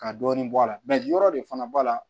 Ka dɔɔnin bɔ a la yɔrɔ de fana b'a la